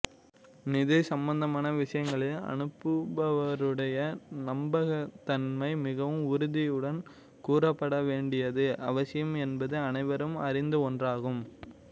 நிதி சம்பந்தமான விஷயங்களில் அனுப்புபவருடைய நம்பகத்தன்மை மிகவும் உறுதியுடன் கூறப்பட வேண்டியது அவசியம் என்பது அனைவரும் அறிந்த ஒன்றாகும்